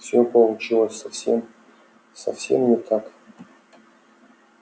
всё получилось совсем совсем не так